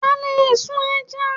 A lè sun ẹja.